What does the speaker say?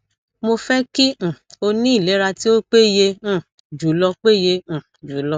mo fẹ kí um o ní ìlera tí ó péye um jùlọ péye um jùlọ